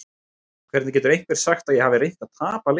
Hvernig getur einhver sagt að ég hafi reynt að tapa leiknum?